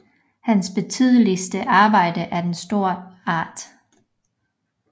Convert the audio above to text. Hans betydeligste Arbejde er den store Art